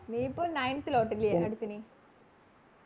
നീ ഇപ്പോൾ Nineth lot അല്ലയോ അടുത്ത ഇനി